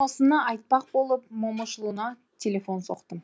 осыны айтпақ болып момышұлына телефон соқтым